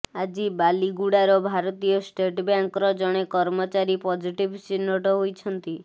ଆଜି ବାଲିଗୁଡାର ଭାରତୀୟ ଷ୍ଟେଟ ବ୍ୟାଙ୍କର ଜଣେ କର୍ମଚାରୀ ପଜିଟିଭ ଚିହ୍ନଟ ହୋଇଛନ୍ତି